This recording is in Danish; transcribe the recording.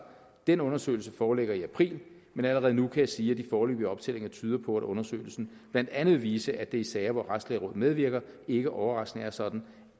den undersøgelse foreligger i april men allerede nu kan jeg sige at de foreløbige optællinger tyder på at undersøgelsen blandt andet vil vise at det i sager hvor retslægerådet medvirker ikke overraskende er sådan